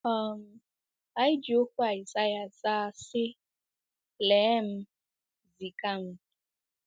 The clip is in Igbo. um Anyị ji okwu Aịsaịa zaa, sị: “Lee m, ziga m.”